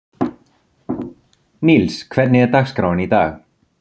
Níls, hvernig er dagskráin í dag?